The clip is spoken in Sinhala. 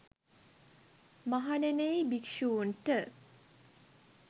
මහණෙනි යි භික්ෂූන්ට